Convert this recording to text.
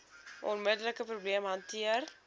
onmiddelike probleem hanteer